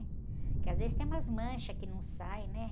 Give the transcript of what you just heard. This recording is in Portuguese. Porque às vezes tem umas manchas que não saem, né?